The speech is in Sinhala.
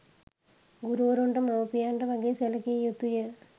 ගුරුවරුන්ට මවුපියන්ට වගේ සැලකිය යුතුය.